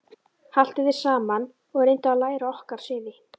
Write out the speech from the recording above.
Haltu þér saman og reyndu að læra okkar siði.